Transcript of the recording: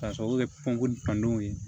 K'a sababu kɛ pɔnpu kanw ye